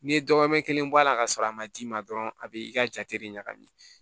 N'i ye dɔgɔmɛ kelen bɔ a la ka sɔrɔ a ma d'i ma dɔrɔn a be i ka jate de ɲagami